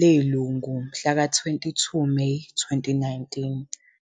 leLungu mhlaka 22 Meyi 2019.